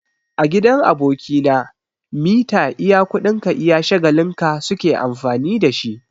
A gidan aboki na, mita iya kuɗin ka iya shagalin ka su ke amfani da shi.